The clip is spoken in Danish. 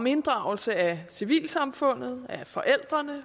inddragelse af civilsamfundet og forældre